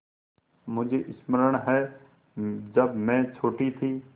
मुझे स्मरण है जब मैं छोटी थी